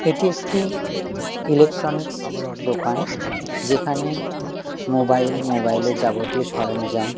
এটি একটি ইলেকট্রনিক্স দোকান যেখানে মোবাইল মোবাইল এর যাবতীয় সরঞ্জাম --